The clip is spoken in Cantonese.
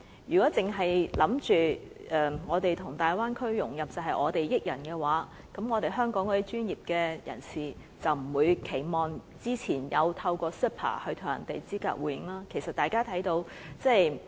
如果認為我們跟大灣區融合，是我們給別人好處，香港的專業人士便不會期望透過 CEPA 與內地專業人士資格互認。